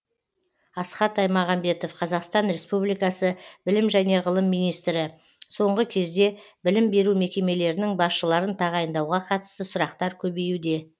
асхат аймағамбетов қазақстан республикасы білім және ғылым министрі соңғы кезде білім беру мекемелерінің басшыларын тағайындауға қатысты сұрақтар көбеюде